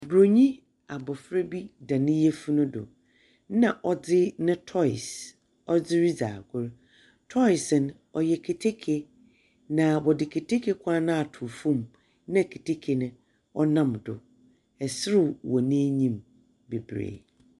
Bronyi abɔfra bi da ne yɛfunu do na ɔde ne tɔys ɔdze redzi agro. Tɔys no, ɔyɛ keteke. Na ɔde keteke kwan na ato fɛm na keteke ne nam do. Ɔsrew wɔ n'anim bebree.